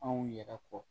Anw yɛrɛ kɔ